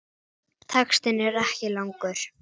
Textinn er ekki langur.